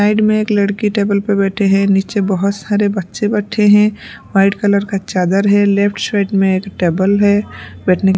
side में एक लड़की टेबल पर बैठे हैं नीचे बहुत सारे बच्चे बैठे हैं वाइट कलर का चादर है लेफ्ट साइड में एक टेबल है बैठने --